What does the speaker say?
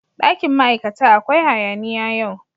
Dakin ma'aikata akwai hayaniya yau.